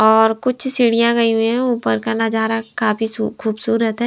और कुछ सीढ़ियां गई हुई हैं ऊपर का नजार काफी सु खूबसूरत है।